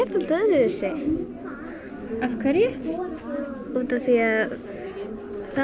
dálítið öðruvísi af hverju út af því að